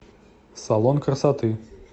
салон красоты